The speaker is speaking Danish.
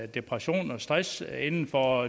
depression og stress inden for